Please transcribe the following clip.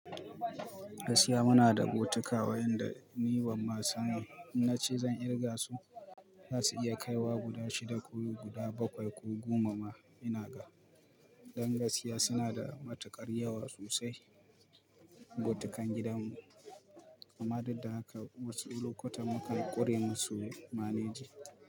Gaskiya muna da botika wayanda ni ban ma san in na ce zan kirga su, za su iya kaiwa guda shida ko guda bakwai ko goma ma ina ga. Dan gaskiya suna da matuƙar yawa sosai botikan gidanmu amma dudda haka wasu lokutan mukan ƙure musu maneji.